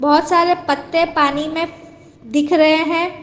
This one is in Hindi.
बहोत सारे पत्ते पानी में दिख रहे हैं।